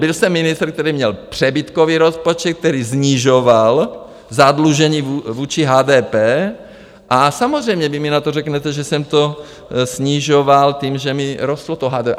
Byl jsem ministr, který měl přebytkový rozpočet, který snižoval zadlužení vůči HDP a samozřejmě vy mi na to řeknete, že jsem to snižoval tím, že mi rostlo to HDP.